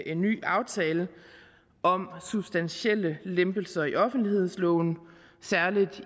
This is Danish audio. en ny aftale om substantielle lempelser i offentlighedsloven særlig